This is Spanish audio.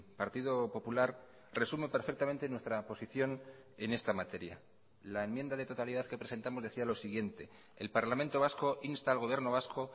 partido popular resume perfectamente nuestra posición en esta materia la enmienda de totalidad que presentamos decía lo siguiente el parlamento vasco insta al gobierno vasco